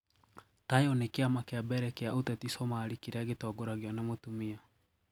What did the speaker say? Tayo ni kiama kia mbere kia ũteti Somalia kĩrĩa gitongoragio na mũtumia